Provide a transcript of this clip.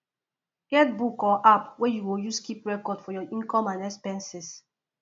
get book or app wey yu go use keep record for yur income and expenses